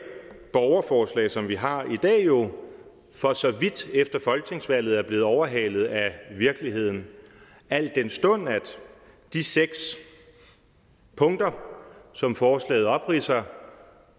borgerforslag som vi har i dag jo for så vidt efter folketingsvalget er blevet overhalet af virkeligheden al den stund at de seks punkter som forslaget opridser